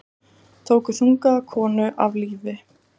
Tóku þungaða konu af lífi